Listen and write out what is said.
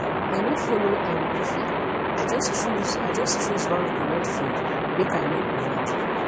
i no follow um buffet i just choose i just choose one correct food make i no overdo